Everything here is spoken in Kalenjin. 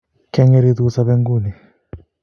Kiang'eritu sobe nguni